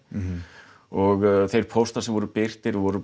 og þeir póstar sem voru birtir voru